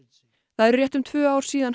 það eru rétt um tvö ár síðan